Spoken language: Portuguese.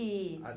Isso.